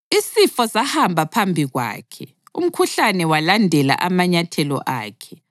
Isifo sahamba phambi kwakhe, umkhuhlane walandela amanyathelo akhe.